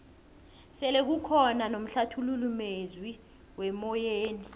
sele kukhona nomhlathululi mezwi wemoyeni